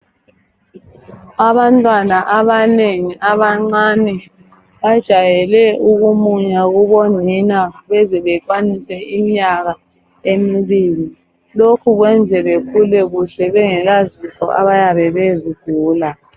Abantwana abanengi abancane ,bajayele ukumunya kubonina beze bekwanise iminyaka emibili, lokhu kwenze bekhule kuhle bengelazifo abayabe bezigula.